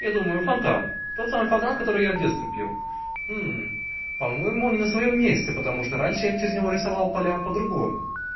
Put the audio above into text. я думаю фонтан тот самый фонтан который я в детстве пил по-моему он не на своём месте потому что раньше я через него рисовал поля по-другому